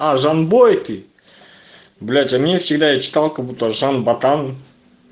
а жанбойки блять а мне всегда я читал как будто жан ботан